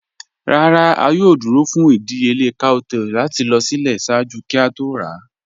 "Ràrá, a yòò dúró fún ìdíyèlẹ̀ cowtail láti lọ sílẹ̀ ṣáàjú kí a tó rà."